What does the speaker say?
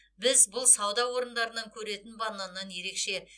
біз бұл сауда орындарынан көретін бананнан ерекше